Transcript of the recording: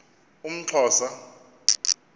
umxhosa